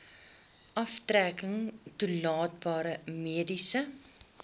aftrekking toelaatbare mediese